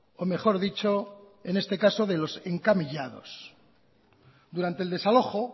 o mejor dicho en este caso de los encamillados durante el desalojo